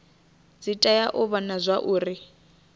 dzi tea u vhona zwauri